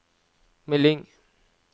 melding